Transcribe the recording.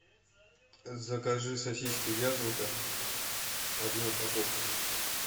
закажи сосиски вязанка одну упаковку